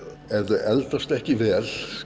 ef þau eldast ekki vel